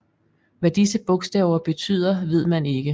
Hvad disse bogstaver betyder ved man ikke